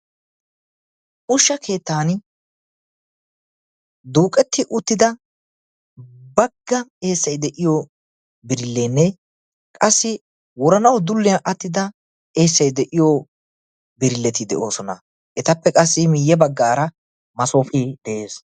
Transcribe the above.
ushsha keettan duuqetti uttida bagga eessay de'iyo birilleenne qassi woranawu dulliyaa attida eessay de'iyo birilleti de'oosona etappe qassi miiyye baggaara masoofee de'ees